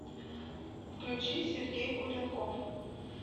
включи сергей куренков